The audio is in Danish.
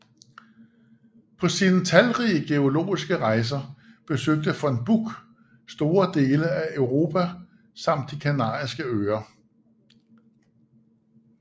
Paå sine talrige geologiske rejser besøgte von Buch store dele af Europa samt de kanariske Øer